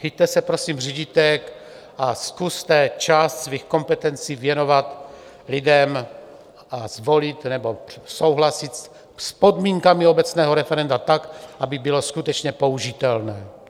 Chyťte se prosím řídítek a zkuste část svých kompetencí věnovat lidem - vás volit nebo souhlasit s podmínkami obecného referenda tak, aby bylo skutečně použitelné.